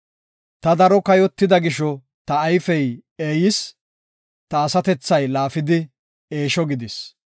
Ta daro kayotida gisho ta ayfey eeyis; ta asatethay laafidi eesho gidis.